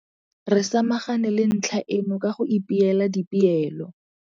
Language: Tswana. Re samagane le ntlha eno ka go ipeela dipeelo.